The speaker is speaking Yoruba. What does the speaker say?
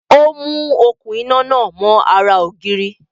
Ó mú okún iná náà mọ́ ara ògiri